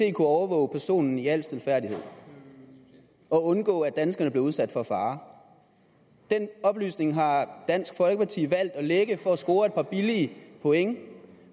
kunne overvåge personen i al stilfærdighed og undgå at danskerne blev udsat for fare den oplysning har dansk folkeparti valgt at lække for at score et par billige points